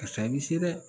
Karisa i bɛ se dɛ